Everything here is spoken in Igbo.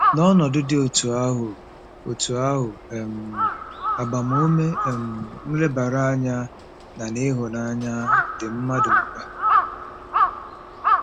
N'ọnọdụ dị otú ahụ otú ahụ, um agbamume um, nlebara anya, na ịhụnanya dị mmadụ mkpa.